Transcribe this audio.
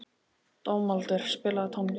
Dómaldur, spilaðu tónlist.